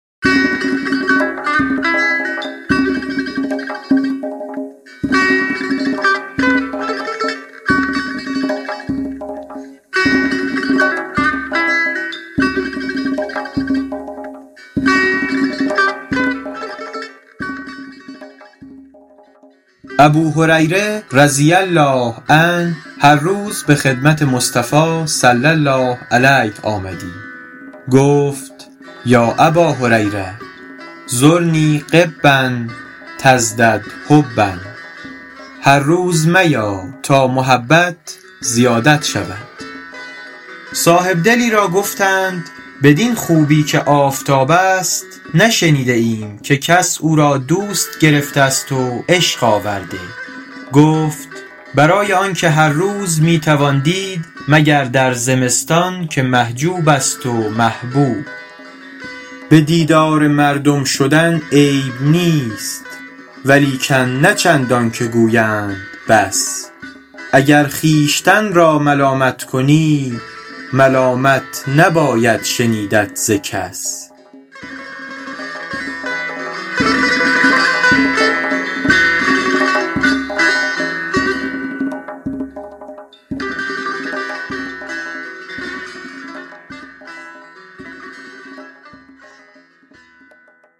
ابوهریره رضی الله عنه هر روز به خدمت مصطفی صلی الله علیه آمدی گفت یا اباهریرة زرنی غبا تزدد حبا هر روز میا تا محبت زیادت شود صاحبدلی را گفتند بدین خوبی که آفتاب است نشنیده ایم که کس او را دوست گرفته است و عشق آورده گفت برای آنکه هر روز می توان دید مگر در زمستان که محجوب است و محبوب به دیدار مردم شدن عیب نیست ولیکن نه چندان که گویند بس اگر خویشتن را ملامت کنی ملامت نباید شنیدت ز کس